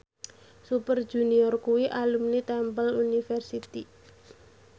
Super Junior kuwi alumni Temple University